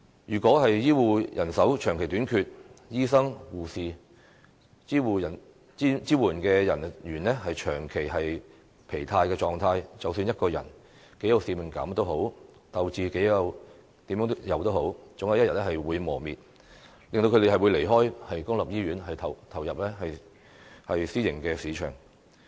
如果醫護人手長期短缺，醫生、護士、支援人員長期處於疲勞狀態，無論他們多有使命感，鬥志總有一天會磨滅，令他們離開公立醫院，轉投私營市場。